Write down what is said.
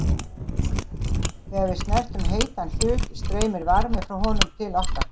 þegar við snertum heitan hlut streymir varmi frá honum til okkar